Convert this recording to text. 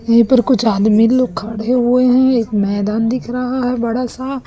यहीं पर कुछ आदमी लोग खड़े हुए हैं एक मैदान दिख रहा है बड़ा सा--